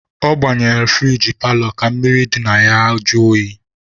Ọ gbanyere furigi paalọ ka mmiri dị n'ime ya jụọ oyi.